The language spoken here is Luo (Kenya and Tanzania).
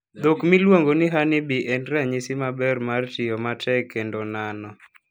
Dhok miluongo ni honeybee en ranyisi maber mar tiyo matek kendo nano.